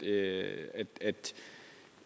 er